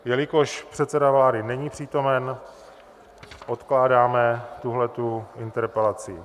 Jelikož předseda vlády není přítomen, odkládáme tuto interpelaci.